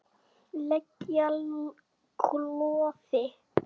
lega klofi.